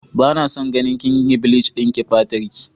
Bana son ganin kinyi bleach dinki fatarki.